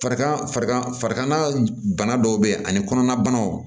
Farigan farigan farikolo bana dɔw bɛ ani kɔnɔnabanaw